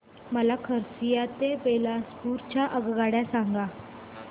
मला खरसिया ते बिलासपुर च्या आगगाड्या सांगा